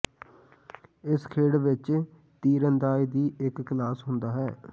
ਇਸ ਖੇਡ ਵਿੱਚ ਤੀਰਅੰਦਾਜ਼ ਦੀ ਇੱਕ ਕਲਾਸ ਹੁੰਦਾ ਹੈ